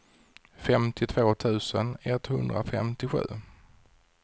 femtiotvå tusen etthundrafemtiosju